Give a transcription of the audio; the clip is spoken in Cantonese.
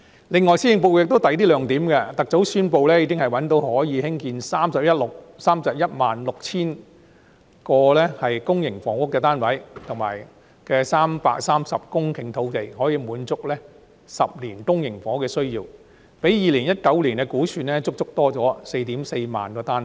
此外，施政報告還有其他亮點，特首宣布覓得可以興建 316,000 個公營房屋單位的330公頃土地，可以滿足10年公營房屋的需要，較2019年的估算，足足增加 44,000 個單位。